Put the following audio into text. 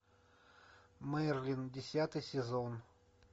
мерлин десятый сезон